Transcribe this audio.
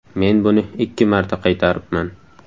Men buni ikki marta qaytaribman.